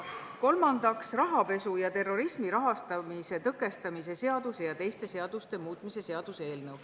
Kolmandaks, rahapesu ja terrorismi rahastamise tõkestamise seaduse ja teiste seaduste muutmise seaduseelnõu.